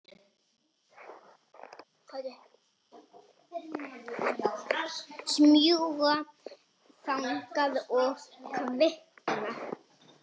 Smjúga þangað og kvikna.